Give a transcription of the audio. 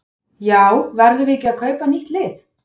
Já verðum við ekki að kaupa nýtt lið?